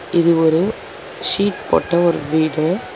இது ஒரு ஷீட் போட்ட ஒரு வீடு.